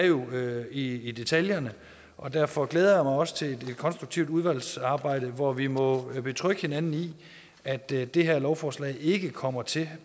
jo er i i detaljerne og derfor glæder også til et konstruktivt udvalgsarbejde hvor vi må betrygge hinanden i at det det her lovforslag ikke kommer til